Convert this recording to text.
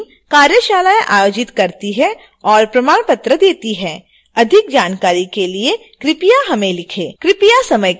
spoken tutorial project team कार्यशालाएं आयोजित करती है और प्रमाण पत्र देती है अधिक जानकारी के लिए कृपया हमें लिखें